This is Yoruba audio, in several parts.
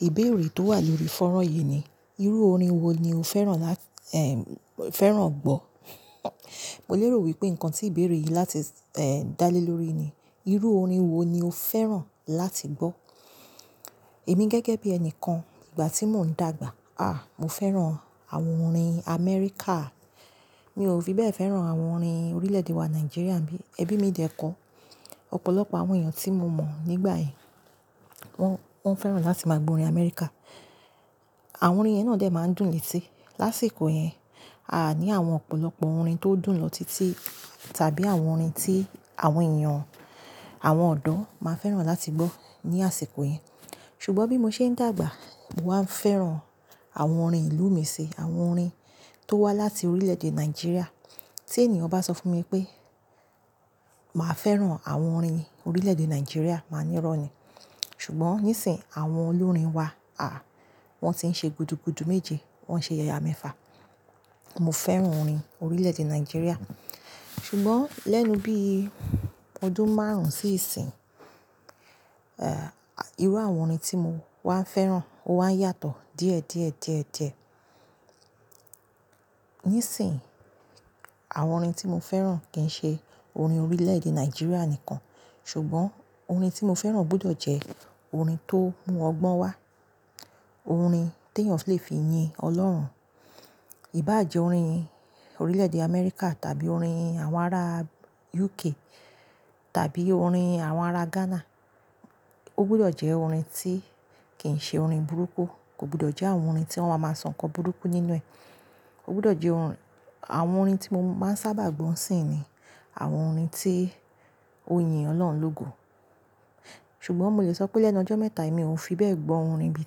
Ìbéèrè tó wà lórí fọ́nrán yìí ni, irú orin wo ni o fẹ́ràn lá fẹ́ràn gbọ́? Mo lérò wípé nǹkan tí ìbéèrè yìí láti dá lé lórí ni, irú orin wo ni o fẹ́ràn láti gbọ́. Èmi gẹ́gẹ́ bí ẹni kan ìgbà tí mò ń dàgbà, à, mo fẹ́ràn àwọn orin Amẹ́ríkà. Mi ò fi bẹ́ẹ̀ fẹ́ràn àwọn orin orílẹ̀-èdè wa Nàìjíríà bí ẹbí mi dẹ̀ kọ́. Ọ̀pọ̀lọpọ̀ àwọn èèyàn tí mo mọ̀ nígbà yẹn, wọ́n, wọ́n fẹ́ràn láti máa gbọ́ orin Amẹ́ríkà. Àwọn orin yẹn náà dè máa ń dùn létí. Lásìkò yẹn, a ní àwọn ọ̀pọ̀lọpọ̀ orin tó dùn lọ títí tàbí àwọn orin tí àwọn èèyàn, àwọn ọ̀dọ́ máa ń fẹ́ràn láti gbọ́ ní àsìkò yẹn. Ṣùgbọ́n bí mo ṣe ń dàgbà, mo wá ń fẹ́ràn àwọn orin ìlú mi sì, àwọn orin tó wá láti orílẹ̀-èdè Nàìjíríà. Tí ènìyàn bá sọ fún mi pé, màá fẹ́ràn àwọn orin orílẹ̀-èdè Nàìjíríà, màá ní rọ́ni. Ṣùgbọ́n ní ìsìn àwọn olórin wa, à, wọ́n ti ń ṣe gudugudu méje, wọ́n ń ṣe yàyà mẹ́fà. Mo fẹ́ràn orin orílẹ̀-èdè Nàìjíríà. Ṣùgbọ́n lẹ́nu bí ọdún márùn-ún sí ìsìn, irú àwọn orin tí mo wá ń fẹ́ràn ó wá ń yàtọ̀ díẹ̀ díẹ̀ díẹ̀ díẹ̀. Nísìnyìí, àwọn orin tí mo fẹ́ràn kì í ṣe orin orílẹ̀-èdè Nàìjíríà nìkan. Ṣùgbọ́n orin tí mo fẹ́ràn gbọdọ̀ jẹ́ orin tó mú ọgbọ́n wá. Orin tí èèyàn lè fi yin Ọlọ́run. Í bá jẹ́ orin orílẹ̀-èdè Amẹ́ríkà tàbí orin àwọn ará UK tàbí orin àwọn ará Ghana, ó gbọdọ̀ jẹ́ orin tí kì í ṣe orin burúkú. Kò gbọdọ̀ jẹ́ àwọn orin tí wọ́n máa ń sọ nǹkan burúkú nínú ẹ̀. Ó gbọdọ̀ jẹ́ orin-- àwọn orin tí mo máa ń sábà gbọ̀ sí ni àwọn orin tí ó yin Ọlọ́run lógo. Ṣùgbọ́n mo lè sọ pé lẹ́nu ọjọ́ mẹ́ta yìí mi ò fi bẹ́ẹ̀ gbọ́ orin bi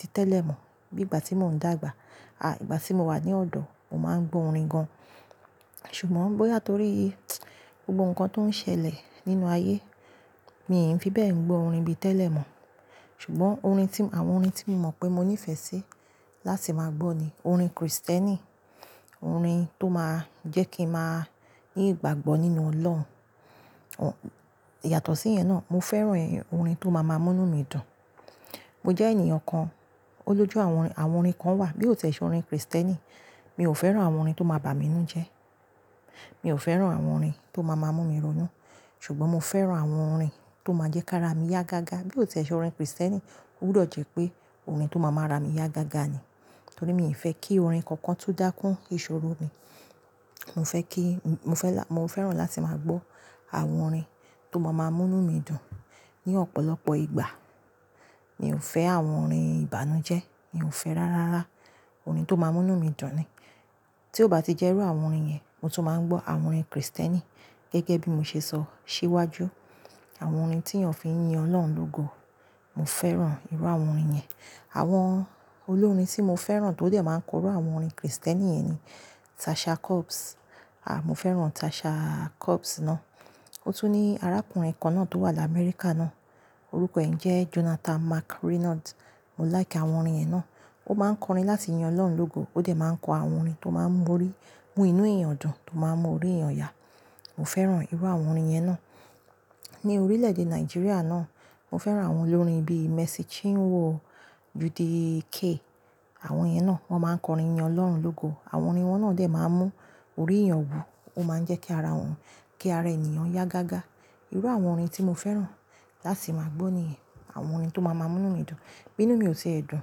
títẹ́lẹ̀ mọ̀. Bí ìgbà tí mò ń dàgbà, à, ìgbà tí mo wà ní ọ̀dọ̀, mo máa ń gbọ́ orin gan. Ṣùgbọ́n bóyá torí gbogbo nǹkan tó ń ṣẹlẹ̀ nínú ayé, mi ò fi bẹ́ẹ̀ ń gbọ́ orin bí tẹ́lẹ̀ mọ̀. Ṣùgbọ́n orin tí-- àwọn orin tí mo mọ̀ pé mo ní ìfẹ́ sí láti máa gbọ́ ni orin Kristẹ́nì, orin tó máa ń jẹ́ kí n máa ní ìgbàgbọ́ nínú Ọlọ́run. Yàtọ̀ sí yẹn náà, mo fẹ́ràn orin tó máa má mú mí dun. Mo jẹ́ ènìyàn kan, ó lójú àwọn orin, àwọn orin kan wà bí ó tẹ̀ ṣe orin Kristẹ́nì, mi ò fẹ́ràn àwọn orin tó máa bà mí nú jẹ́. Mi ò fẹ́ràn àwọn orin tó máa má mú mí ronú. Ṣùgbọ́n mo fẹ́ràn àwọn orin tó máa jẹ́ kí ara mi yá gágá bí ó tẹ̀ ṣe orin Kristẹ́nì ó gbọdọ̀ jẹ́ pé orin tó máa má ra mí yá gágá ni. Torí mi ò fẹ́ kí orin kankan tú dá kún ìṣòro mi. Mo fẹ́ kí, mo fẹ́ là-- mo fẹ́ràn láti máa gbọ́ àwọn orin tó máa má mú mí dun ní ọ̀pọ̀lọpọ̀ ìgbà. Mi ò fẹ́ àwọn orin ìbànújẹ́, mi ò fẹ́ rárá rá orin tó máa mú'nú mí dun ni. Tí ó bá ti jẹ́ irú àwọn orin yẹn, mo tún máa ń gbọ́ àwọn orin Kristẹ́nì gẹ́gẹ́ bí mo ṣe sọ síwájú. Àwọn orin tí èèyàn fi ń yin Ọlọ́run lógo, mo fẹ́ràn irú àwọn orin yẹn. Àwọn olórin tí mo fẹ́ràn tó dẹ̀ máa ń kọ orú àwọn orin Kristẹ́nì yẹn ni Tasha Cobbs. À, mo fẹ́ràn Tasha Cobbs náà. Ó tún ní arákùnrin kan náà tó wà lá Amẹ́ríkà náà, orúkọ ẹ̀ jẹ́ Jonathan McReynolds. Mo like àwọn orin ẹ náà. Ó máa ń kọrin láti yin Ọlọ́run lógo, ó dẹ̀ máa ń kọ àwọn orin tó máa ń mú orí, mú inú èèyàn dùn, tó máa ń mú orí èèyàn yà. Mo fẹ́ràn irú àwọn orin yẹn náà. Ní orílẹ̀-èdè Nàìjíríà náà, mo fẹ́ràn àwọn olórin bí Mercy Chinwo, Judy K. Àwọn yẹn náà wọ́n máa ń kọrin yin Ọlọ́run lógo. Àwọn orin wọn náà dè máa ń mú orí èèyàn wù ó máa ń jẹ́ kí ara wọn, kí ara ènìyàn yá gágá. Irú àwọn orin tí mo fẹ́ràn láti máa gbọ́ ni àwọn orin tó máa má mú mí dun. Bí inú mi ò ti ẹ̀ dun,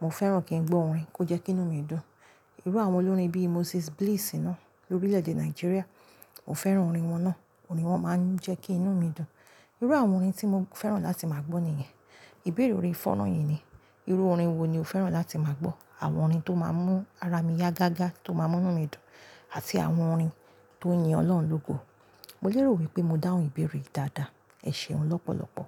mo fẹ́ràn kí n gbọ́ orin kò jẹ́ kí inú mi dùn. Irú àwọn olórin bí Moses Bliss náà lórílẹ̀-èdè Nàìjíríà, mo fẹ́ràn orin wọn náà. Orin wọn máa ń jẹ́ kí inú mi dùn. Irú àwọn orin tí mo fẹ́ràn láti máa gbọ́ ni yẹn. Ìbéèrè orin fọ́nrán yìí ni, irú orin wo ni o fẹ́ràn láti máa gbọ́? Àwọn orin tó máa ń mú ara mi yá gágá, tó máa ń mú'nu mí dùn àti àwọn orin tó ń yin Ọlọ́run lógo. Mo lérò wípé mo dáhùn ìbéèrè yìí dáadáa. Ẹ ṣeun lọ́pọ̀lọpọ̀.